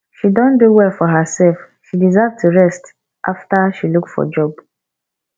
she don do well for herself she deserve to rest after she look for job